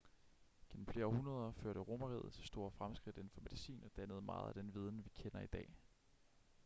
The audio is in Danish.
gennem flere århundreder førte romerriget til store fremskridt inden for medicin og dannede meget af den viden vi kender i dag